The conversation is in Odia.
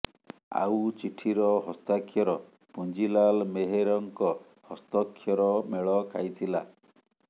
ଆଉ ଚିଠିର ହସ୍ତାକ୍ଷର ପୁଞ୍ଜିଲାଲ ମେହେରଙ୍କ ହସ୍ତକ୍ଷର ମେଳ ଖାଇଥିଲା